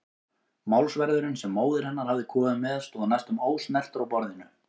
Málsverðurinn sem móðir hennar hafði komið með stóð næstum ósnertur á borðinu.